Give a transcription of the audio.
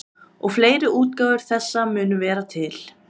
og fleiri útgáfur þessa munu vera til